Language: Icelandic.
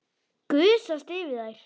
Gusast yfir þær.